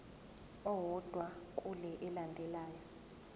owodwa kule elandelayo